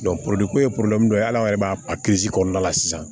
ko ye ye hali an yɛrɛ b'a kɔnɔna la sisan